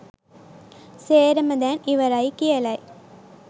සේරම දැන් ඉවරයි කියලයි